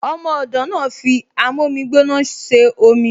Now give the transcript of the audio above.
Ọmọ ọ̀dọ̀ náà fi amómígbóná ṣe omi